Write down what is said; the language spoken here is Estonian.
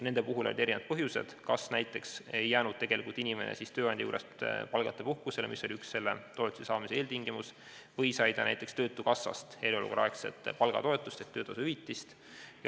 Nende puhul oli erinevaid põhjuseid, näiteks ei jäänud inimene tööandja juures palgata puhkusele, mis oli üks selle toetuse saamise eeltingimus, või sai ta töötukassast eriolukorraaegset palgatoetust ehk töötushüvitist.